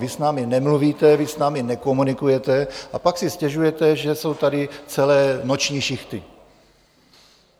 Vy s námi nemluvíte, vy s námi nekomunikujete a pak si stěžujete, že jsou tady celé noční šichty.